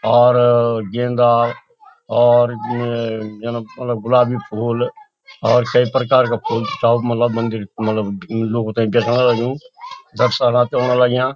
और गेंदा और अ यन मलब गुलाबी फूल और कई प्रकार का फूल चाओ मलब मंदिर मलब लोगु ते देखणा लग्युं दर्शनार्थ औण लग्यां।